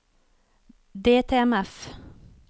DTMF